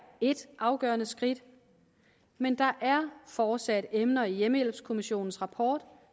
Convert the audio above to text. ét afgørende skridt men der er fortsat emner i hjemmehjælpskommissionens rapport